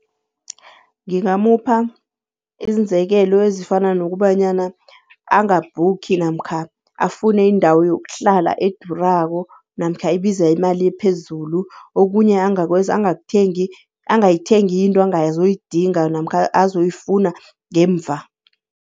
Ngingamupha iinzekelo ezifana nokubanyana angabhukhi namkha afune indawo yokuhlala edurako namkha ebiza imali ephezulu. Okunye angakwenza angayithengi into angazoyidinga namkha azoyifuna ngemva.